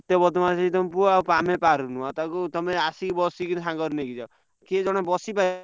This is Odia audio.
ଏତେ ବଦ୍ମାସି ତମ ପୁଅ ଆମେ ପାରୁନୁ ଆଉ ତାକୁ ତମେ ଆସିକି ବସିକି ସାଙ୍ଗରେ ନେଇକି ଯାଅ। କିଏ ଜଣେ ବସିବ।